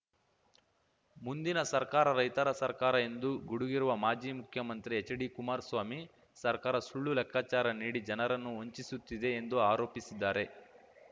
ಮುಂದಿನ ಸರ್ಕಾರ ರೈತರ ಸರ್ಕಾರ ಎಂದು ಗುಡುಗಿರುವ ಮಾಜಿ ಮುಖ್ಯಮಂತ್ರಿ ಎಚ್‌ಡಿ ಕುಮಾರ್ ಸ್ವಾಮಿ ಸರ್ಕಾರ ಸುಳ್ಳು ಲೆಕ್ಕಾಚಾರ ನೀಡಿ ಜನರನ್ನು ವಂಚಿಸುತ್ತಿದೆ ಎಂದು ಆರೋಪಿಸಿದ್ದಾರೆ